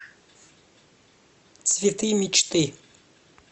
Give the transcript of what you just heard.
цветы мечты